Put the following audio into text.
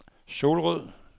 Solrød